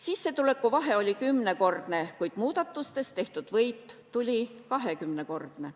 Sissetuleku vahe oli 10-kordne, kuid muudatustest tehtud võit tuli 20-kordne.